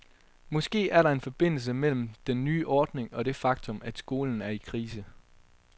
Måske er der en forbindelse mellem den nye ordning og det faktum, at skolen er i krise.